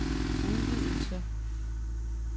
udvidelse